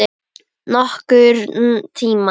Nokkurn tímann.